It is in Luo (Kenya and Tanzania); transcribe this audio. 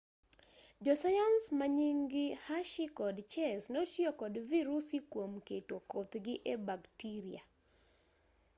josayans manying-gi hershey kod chase notiyo kod virusi kuom keto kothgi e baktiria